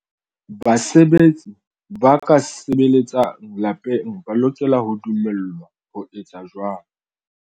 Basebetsi ba ka sebeletsang lapeng ba lokela ho dumellwa ho etsa jwalo.